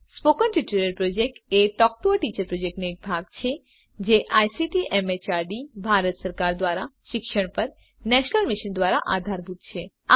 spoken tutorial project એ talk to a teacher પ્રોજેક્ટનો એક ભાગ છે જે આઇસીટી એમએચઆરડી ભારત સરકાર દ્વારા શિક્ષણ પર નેશનલ મિશન દ્વારા આધારભૂત છે